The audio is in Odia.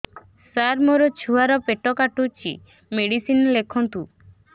ସାର ମୋର ଛୁଆ ର ପେଟ କାଟୁଚି ମେଡିସିନ ଲେଖନ୍ତୁ